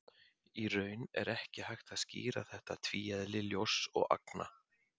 Í raun er ekki hægt að skýra þetta tvíeðli ljóss og agna.